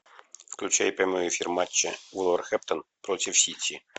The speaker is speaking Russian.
включай прямой эфир матча вулверхэмптон против сити